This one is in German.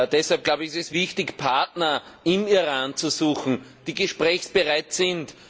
Deshalb ist es wichtig, Partner im Iran zu suchen, die gesprächsbereit sind.